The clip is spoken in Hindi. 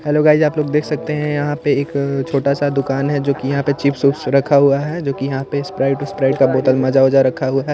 हेल्लो गाइस आप लोग देख सकते हैं यहाँ पे एक छोटा सा दुकान है जो कि यहाँ का चिप्स विप्स रखा हुआ है जो कि यहाँ पे स्प्राइट उस्प्राइड का बोतल माजा ओजा रखा हुआ --